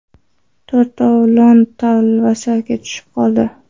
To‘rtovlon talvasaga tushib qoldi.